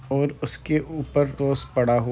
और उसके ऊपर टोस्ट पड़ा --